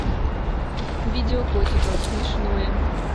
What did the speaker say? видео котиков смешное